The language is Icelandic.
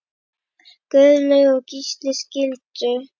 Guðlaug og Gísli skildu.